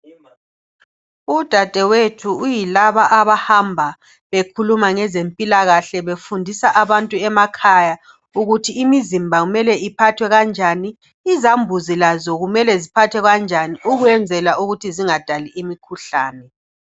Udadewethu uyilaba abahamba bekhuluma ngezempilakahle befundisa abantu emakhaya ukuthi imizimba kumele iphathwa kanjani, izambuzi lazo kumele ziphathwe kanjani ukwenzela ukuthi zingadali imikhuhlane.